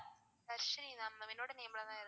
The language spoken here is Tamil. தர்ஷினி ma'am என்னோட name ல தான் இருக்கு.